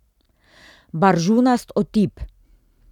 Baržunast otip!